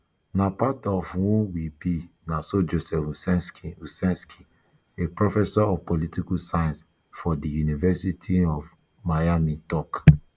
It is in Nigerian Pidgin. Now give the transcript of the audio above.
na part um of who we be na so joseph uscinski uscinski a professor of political science for di university um of miami tok